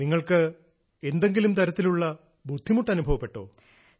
നിങ്ങൾക്ക് എന്തെങ്കിലും തരത്തിലുള്ള ബുദ്ധിമുട്ട് അനുഭവപ്പെട്ടോ